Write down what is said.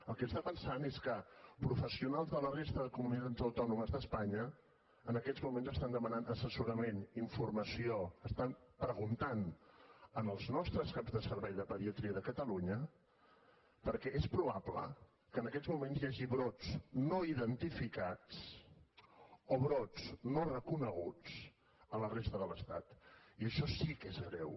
el que passa és que professionals de la resta de comunitats autònomes d’espanya en aquests moments estan demanant assessorament informació estan preguntant als nostres caps de servei de pediatria de catalunya perquè és probable que en aquests moments hi hagi brots no identificats o brots no reconeguts a la resta de l’estat i això sí que és greu